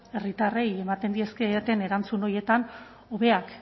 herritarrei ematen dizkieten erantzun horietan hobeak